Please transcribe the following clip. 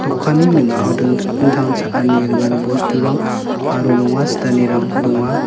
dokanni ning·ao dingtang dingtang cha·ani ringani bosturang aro nonga sitanirang donga.